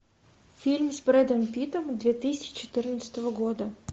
фильм с брэдом питтом две тысячи четырнадцатого года